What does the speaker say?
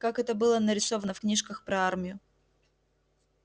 как это было нарисовано в книжках про армию